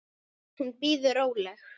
Hún bíður róleg.